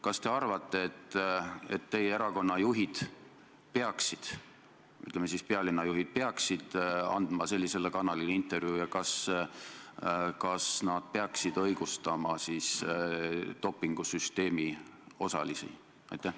Kas te arvate, et teie erakonna juhid või, ütleme siis, pealinna juhid peaksid andma sellisele kanalile intervjuusid ja kas nad peaksid õigustama dopingusüsteemi osalisi?